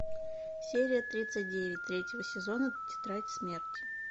серия тридцать девять третьего сезона тетрадь смерти